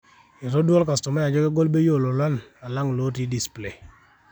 etodua olkastomai ajo kegol bei oo lolan alang looti display